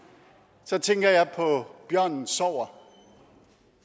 så tænker jeg på bjørnen sover